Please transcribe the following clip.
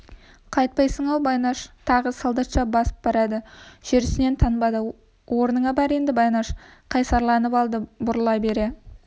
қайтпайсың-ау байнаш тағы солдатша басып барады жүрісінен танбады орныңа бар енді байнаш қайсарланып алды бұрыла бере